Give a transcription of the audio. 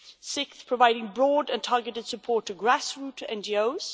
sixthly, providing broad and targeted support to grass root NGOs